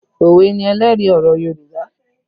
Òwe ni ẹlẹ́rìí ọ̀rọ̀ Yorùbá